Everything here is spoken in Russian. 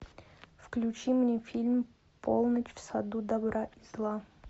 включи мне фильм полночь в саду добра и зла